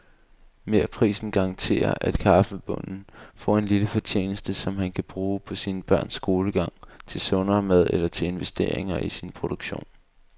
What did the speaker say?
Merprisen garanterer, at kaffebonden får en lille fortjeneste, som han kan bruge til sine børns skolegang, til sundere mad eller til investeringer i sin produktion.